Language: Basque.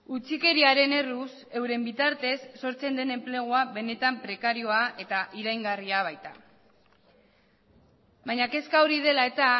utzikeriaren erruz euren bitartez sortzen den enplegua benetan prekarioa eta iraingarria baita baina kezka hori dela eta